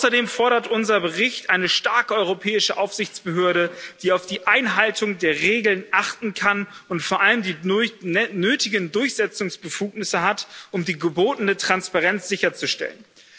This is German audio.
Außerdem fordert unser Bericht eine starke europäische Aufsichtsbehörde, die auf die Einhaltung der Regeln achten kann und vor allem die nötigen Durchsetzungsbefugnisse hat, um die gebotene Transparenz sicherzustellen.